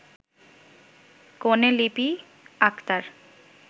কনে লিপি আকতার